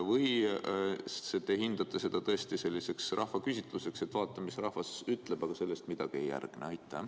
Või te peate seda selliseks rahvaküsitlusteks, et vaatame, mis rahvas ütleb, aga sellele midagi ei järgne?